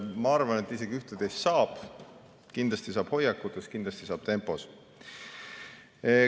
Ma arvan, et isegi ühte-teist saab, kindlasti saab muuta hoiakutes, kindlasti saab muuta tempos.